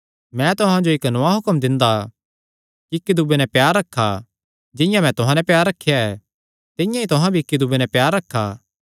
मैं तुहां जो इक्क नौआं हुक्म दिंदा कि इक्की दूये नैं प्यार रखा जिंआं मैं तुहां नैं प्यार रखेया ऐ तिंआं ई तुहां भी इक्की दूये नैं प्यार रखा